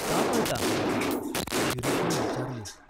का पळता ?" शिरीषने विचारले.